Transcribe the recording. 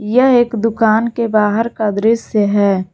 यह एक दुकान के बाहर का दृश्य है।